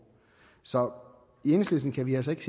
så i enhedslisten kan vi altså ikke